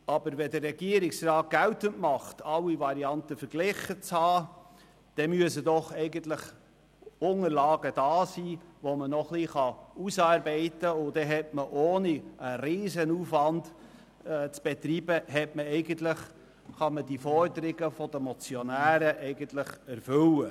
Wenn der Regierungsrat geltend macht, alle Varianten verglichen zu haben, dann müssen doch eigentlich Unterlagen vorhanden sein, die man noch ausarbeiten kann, und die Forderungen der Motionäre könnte man eigentlich ohne einen Riesenaufwand zu betreiben erfüllen.